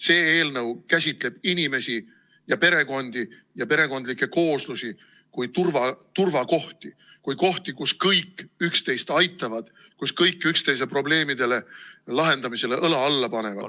See eelnõu käsitleb inimesi ja perekondi ja perekondlikke kooslusi kui turvakohti – kui kohti, kus kõik üksteist aitavad ja kus kõik üksteise probleemide lahendamisele õla alla panevad.